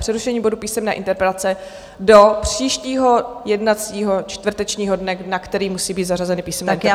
Přerušení bodu Písemné interpelace do příštího jednacího čtvrtečního dne, na který musí být zařazeny písemné interpelace.